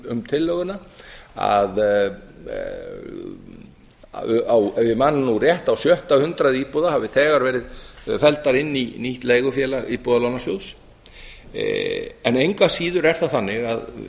um tillöguna að ef ég man nú rétt á sjötta hundrað íbúða hafi þegar verið felldar inn í nýtt leigufélag íbúðalánasjóðs engu að síður er það þannig að